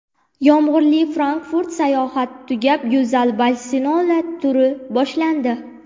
Yomg‘irli Frankfurt sayohati tugab, go‘zal Barselona turi boshlandi.